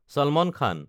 চালমান খান